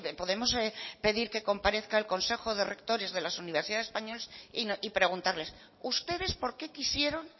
podemos pedir que comparezca el consejo de rectores de las universidades españolas y preguntarles ustedes por qué quisieron